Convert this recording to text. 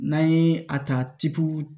N'an ye a ta